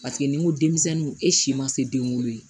Paseke n'i ko denmisɛnninw e si ma se den wolo ye